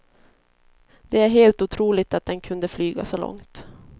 Det är helt otroligt att den kunde flyga så långt.